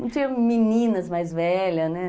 Não tinha meninas mais velhas, né?